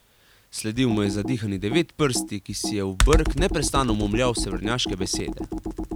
Sledil mu je zadihani Devetprsti, ki si je v brk neprestano momljal severnjaške besede.